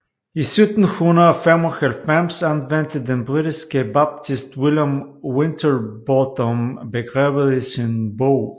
I 1795 anvendte den britiske baptist William Winterbotham begrebet i sin bog